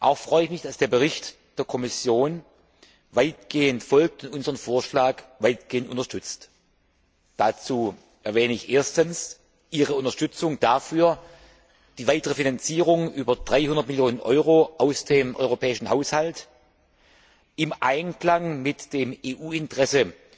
Auch freue ich mich, dass der Bericht der Kommission weitgehend folgt und unseren Vorschlag weitgehend unterstützt. Dazu erwähne ich erstens Ihre Unterstützung dafür, die weitere Finanzierung über 300 Millionen Euro aus dem europäischen Haushalt im Einklang mit dem EU Interesse